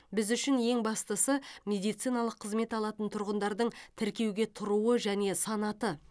біз үшін ең бастысы медициналық қызмет алатын тұрғындардың тіркеуге тұруы және санаты